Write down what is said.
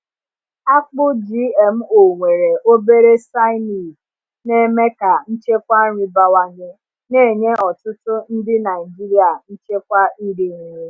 Akpụ GMO nwere obere cyanide na-eme ka nchekwa nri bawanye, na-enye ọtụtụ ndị Naijiria nchekwa iri nri.